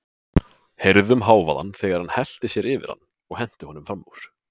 Heyrðum hávaðann þegar hann hellti sér yfir hann og henti honum fram úr.